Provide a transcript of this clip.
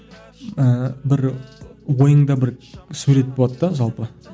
ііі бір ойыңда бір сурет болады да жалпы